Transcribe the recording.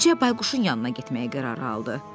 Əvvəlcə Bayquşun yanına getməyə qərar aldı.